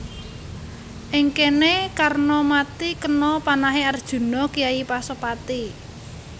Ing kéné Karna mati kena panahé Arjuna kyai Pasopati